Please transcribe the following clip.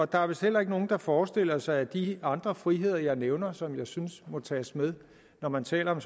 der er vist heller ikke nogen der forestiller sig at de andre friheder jeg nævner og som jeg synes må tages med når man taler om